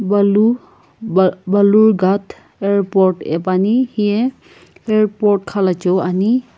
balu bal balurghat airport ae piani hiye airport khalachiu ani.